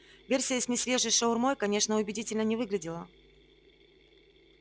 версия с несвежей шаурмой конечно убедительно не выглядела